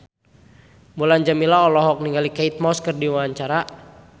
Mulan Jameela olohok ningali Kate Moss keur diwawancara